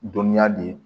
Dɔnniya de